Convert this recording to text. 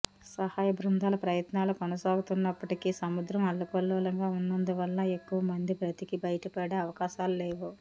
సహాయ బృందాల ప్రయత్నాలు కొనసాగుతున్నప్పటికీ సముద్రం అల్లకల్లోలంగా ఉన్నందువల్ల ఎక్కువమంది బతికి బయటపడే ఆవకాశాలు లేవు